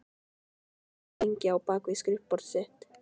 Hann þagði lengi á bak við skrifborðið sitt.